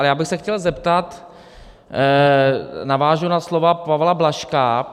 Ale já bych se chtěl zeptat - navážu na slova Pavla Blažka.